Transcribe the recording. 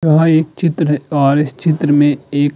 वह एक चित्र और इस चित्र में एक --